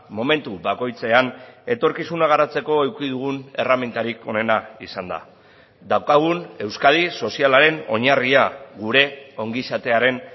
momentu bakoitzean etorkizuna garatzeko eduki dugun erremintarik onena izan da daukagun euskadi sozialaren oinarria gure ongizatearen